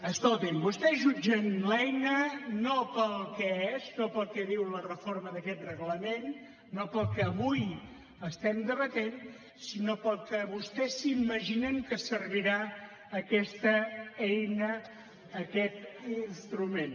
escoltin vostès jutgen l’eina no pel que és no pel que diu la reforma d’aquest reglament no pel que avui estem debatent sinó pel que vostès s’imaginen que servirà aquesta eina aquest instrument